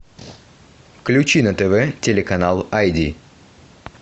включи на тв телеканал айди